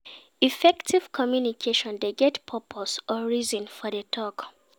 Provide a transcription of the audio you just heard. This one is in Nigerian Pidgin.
Effective communication de get purpose or reason for di talk